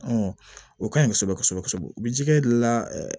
o kaɲi kosɛbɛ kosɛbɛ u bɛ jɛgɛ di la